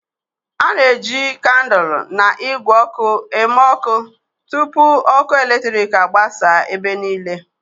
A na-eji kandụl na igwe oku eme ọkụ tupu ọkụ eletrik agbasa ebe niile.